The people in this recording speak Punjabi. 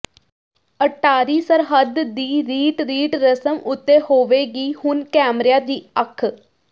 ਅਟਾਰੀ ਸਰਹੱਦ ਦੀ ਰੀਟਰੀਟ ਰਸਮ ਉਤੇ ਹੋਵੇਗੀ ਹੁਣ ਕੈਮਰਿਆਂ ਦੀ ਅੱਖ